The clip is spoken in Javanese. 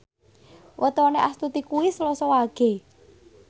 wetone Astuti kuwi Selasa Wage